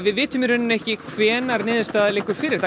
við vitum ekki hvenær niðurstaða liggur fyrir